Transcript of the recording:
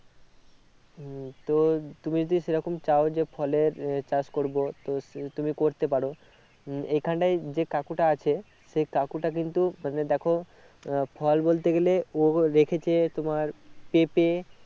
হম তো তুমি যদি সেরকম চাও যে ফলের আহ চাষ করবো তো তুমি করতে পারো উহ এখন টাই যে কাকুটা আছে সেই কাকুটা কিন্তু মানে দেখো আহ ফল বলতে গেলে ও রেখেছে তোমার পেঁপে